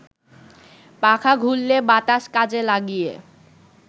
পাখা ঘুরলে বাতাস কাজে লাগিয়ে